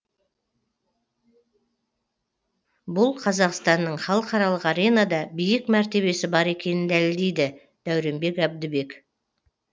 бұл қазақстанның халықаралық аренада биік мәртебесі бар екенін дәлелдейді дәуренбек әбдібек